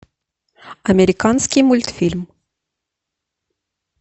американский мультфильм